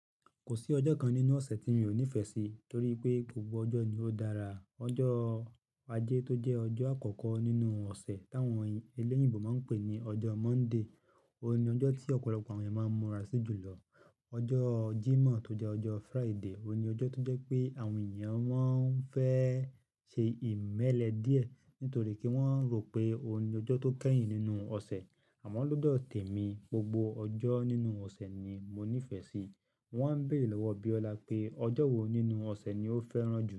Kò sí ọjọ́ kan nínú ọ̀sẹ̀ tí mi ò nífẹ̀ẹ́ sí torí pé gbogbo ọjọ́ ni ó dára. Ọjọ́ Ajé tó jẹ́ ọjọ́ àkọ́kọ́ nínú ọ̀sẹ̀ táwọn eléyìíbo máa ń pè ní ọjọ́ Monday, òun ni ọjọ́ tí ọ̀pọ̀lọpọ̀ àwọn ènìyàn máa ń múra sí jùlọ. Ọjọ́ Jímọ̀ tó jẹ́ ọjọ́ Friday, òun ni ọjọ́ tó jẹ́ pé àwọn ènìyàn máa ń fẹ́ ṣe ìmẹ́lẹ́ díẹ̀ nítorí pé wọ́n rò pé òun ni ọjọ́ tó kẹ́yìn nínú ọ̀sẹ̀. Àmọ́ lọ́dọ̀ tèmi, gbogbo ọjọ́ nínú ọ̀sẹ̀ ni mo nífẹ̀ẹ́ sí. Wọ́n á ń béèrè lọ́wọ́ Biola pé ọjọ́ wo nínú ọ̀sẹ̀ ni ó fẹ́ràn jù.